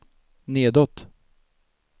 nedåt